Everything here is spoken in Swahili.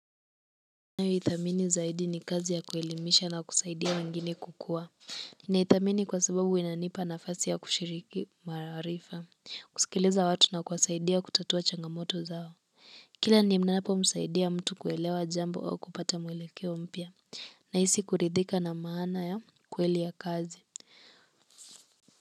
Ninayoithamini zaidi ni kazi ya kuelimisha na kusaidia wangine kukua na ithamini kwa sababu inanipa nafasi ya kushiriki maarifa, kusikiliza watu na kuwasaidia kutatua changamoto zao kila ninapo msaidia mtu kuelewa jambo au kupata mwelekeo mpya nahisi kuridhika na maana ya kweli ya kazi.